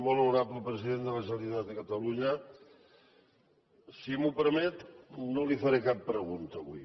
molt honorable president de la generalitat de catalunya si m’ho permet no li faré cap pregunta avui